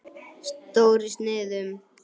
Stór í sniðum.